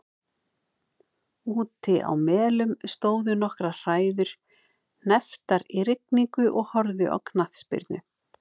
Úti á Melum stóðu nokkrar hræður hnepptar í rigningu og horfðu á knattspyrnu.